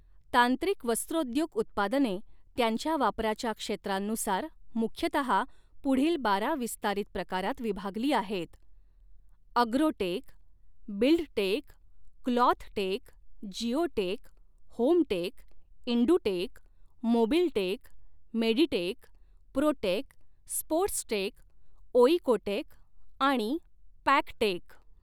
तांत्रिक वस्त्रोद्योग उत्पादने त्यांच्या वापराच्या क्षेत्रांनुसार मुख्यतहा पुढील बारा विस्तारित प्रकारात विभागली आहेत, agrotech, buildtech, clothtech, geotech, hometech, indutech, mobiltech, meditech, protech, sportstech, oekotech आणि पॅकटेक.